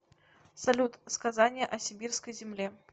салют сказание о сибирской земле